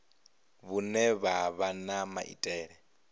vhune ha vha na maitele